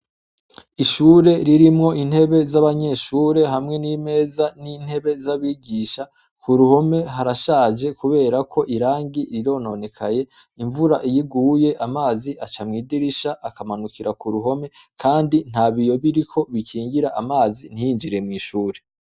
Ishure ririmwo intebe z'abanyeshure hamwe n'imeza n'intebe z'abigisha ku ruhome harashaje, kubera ko irangi rirononekaye imvura iyiguye amazi aca mw'idirisha akamanukira ku ruhome, kandi nta biyo biriko bikingira amazi ntiyinjire mw'ishure.